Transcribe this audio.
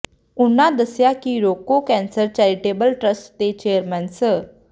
ਉਨ੍ਹਾਂ ਦੱਸਿਆ ਕਿ ਰੋਕੋ ਕੈਂਸਰ ਚੈਰੀਟੇਬਲ ਟਰੱਸਟ ਦੇ ਚੇਅਰਮੈਨ ਸ